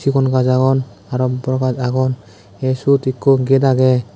sigon gaj agon aro bor gaj agon ye siot ekko gate agey.